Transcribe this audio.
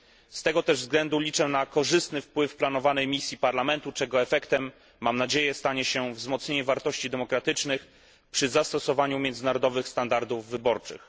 Z tego też względu liczę na korzystny wpływ planowanej misji Parlamentu, czego efektem, mam nadzieję, będzie wzmocnienie wartości demokratycznych przy zastosowaniu międzynarodowych standardów wyborczych.